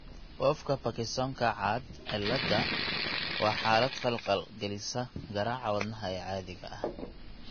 Wolffka Parkinsonka caad cilaada waa xaalad khalkhal gelisa garaaca wadnaha ee caadiga ah (arrhythmia).